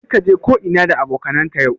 Kar ka je ko'ina da abokanan ka yau